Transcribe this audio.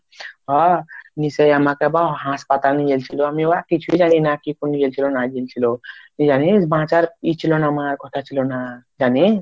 নিশ্চয় তখনি আবার হাসপাতালে নিয়ে গেছিলো আমি বা কিছুই জানিনা কি নিয়ে গেছিল না গেছিল এ আমি বাঁচার এ ছিল না আমার জানিস